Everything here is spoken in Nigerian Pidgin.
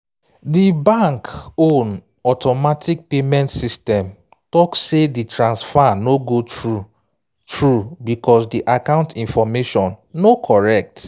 di bank own automatic payment system talk say di transfer no go through through because di account information no correct